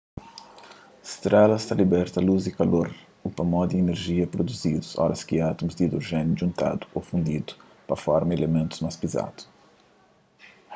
strelas ta libeta lus y kalor upamodi inerjia pruduzidu oras ki átmus di idrojéniu djuntadu ô fundidu pa forma ilimentus más pizadu